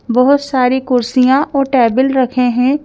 बहुत सारी कुर्सियां और टेबल रखे हैं।